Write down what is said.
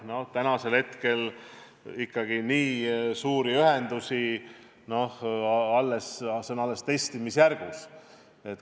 No täna ikkagi nii suuri ühendusi vesiniku põhjal teha – see on alles testimisjärgus.